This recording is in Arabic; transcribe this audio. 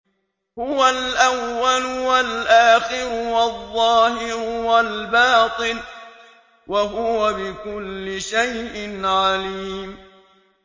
هُوَ الْأَوَّلُ وَالْآخِرُ وَالظَّاهِرُ وَالْبَاطِنُ ۖ وَهُوَ بِكُلِّ شَيْءٍ عَلِيمٌ